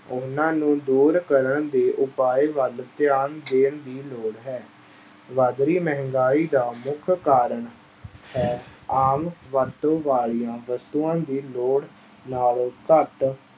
ਉਹਨਾਂ ਨੂੰ ਦੂਰ ਕਰਨ ਦੇ ਉਪਾਏ ਵੱਲ ਧਿਆਨ ਦੇਣ ਦੀ ਲੋੜ ਹੈ, ਵੱਧ ਰਹੀ ਮਹਿੰਗਾਈ ਦਾ ਮੁੱਖ ਕਾਰਨ ਹੈ ਆਮ ਵਰਤੋਂ ਵਾਲੀਆਂ ਵਸਤੂਆਂ ਦੀ ਲੋੜ ਨਾਲੋਂ ਘੱਟ